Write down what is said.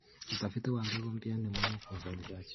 Utafiti wa mbegu mpya ni muhimu kwa uzalishaji.